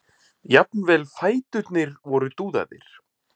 Jafnvel fæturnir voru dúðaðir.